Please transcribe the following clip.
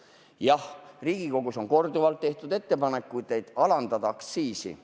Jah, Riigikogus on korduvalt tehtud ettepanekuid alandada aktsiisi.